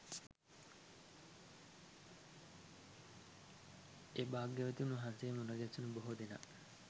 ඒ භාග්‍යවතුන් වහන්සේ මුණගැහුණු බොහෝ දෙනා